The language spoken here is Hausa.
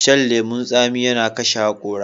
Shan lemun tsami yana kashe hakora.